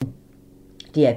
DR P3